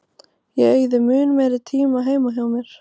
Ég eyði mun meiri tíma heima hjá mér.